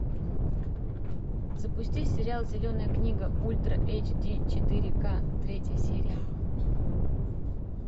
запусти сериал зеленая книга ультра эйч ди четыре ка третья серия